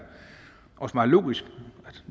meget logisk